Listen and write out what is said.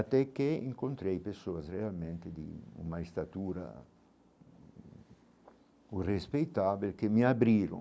Até que encontrei pessoas realmente de uma estatura, um respeitável, que me abriram.